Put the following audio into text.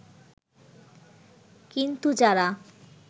কিন্তু যারা